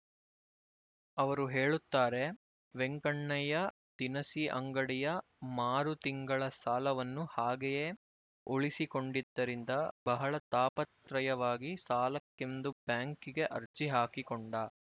ಅವರು ಹೇಳುತ್ತಾರೆ ವೆಂಕಣ್ಣಯ್ಯ ದಿನಸಿ ಅಂಗಡಿಯ ಮಾರು ತಿಂಗಳ ಸಾಲವನ್ನು ಹಾಗೆಯೇ ಉಳಿಸಿಕೊಂಡಿದ್ದರಿಂದ ಬಹಳ ತಾಪತ್ರಯವಾಗಿ ಸಾಲಕ್ಕೆಂದು ಬ್ಯಾಂಕಿಗೆ ಅರ್ಜಿ ಹಾಕಿಕೊಂಡ